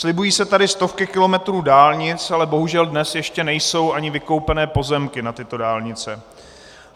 Slibují se tady stovky kilometrů dálnic, ale bohužel dnes ještě nejsou ani vykoupené pozemky na tyto dálnice.